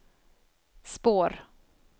spår